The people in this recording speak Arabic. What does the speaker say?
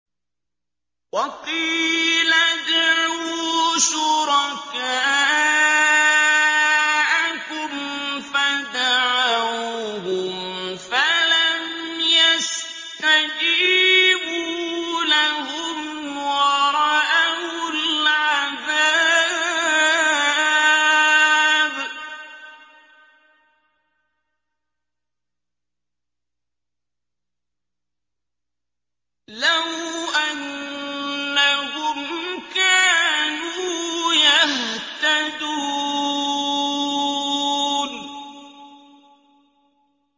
وَقِيلَ ادْعُوا شُرَكَاءَكُمْ فَدَعَوْهُمْ فَلَمْ يَسْتَجِيبُوا لَهُمْ وَرَأَوُا الْعَذَابَ ۚ لَوْ أَنَّهُمْ كَانُوا يَهْتَدُونَ